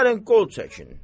Di gəlin qol çəkin.